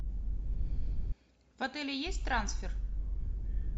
в отеле есть трансфер